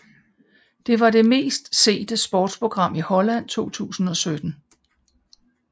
Det var det mest sete sportsprogram i Holland i 2017